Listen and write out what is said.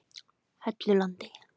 Hellulandi